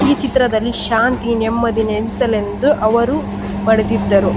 ಈ ಚಿತ್ರದಲ್ಲಿ ಶಾಂತಿ ನೆಮ್ಮದಿ ನೆಲೆಸಲೆಂದು ಅವರು ಮಡಿದಿದ್ದರು.